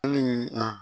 Hali